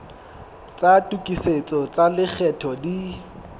tsa tokisetso tsa lekgetho di